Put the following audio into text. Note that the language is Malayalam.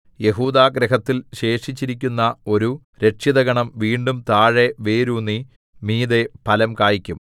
യെഹൂദാഗൃഹത്തിൽ ശേഷിച്ചിരിക്കുന്ന ഒരു രക്ഷിതഗണം വീണ്ടും താഴെ വേരൂന്നി മീതെ ഫലം കായിക്കും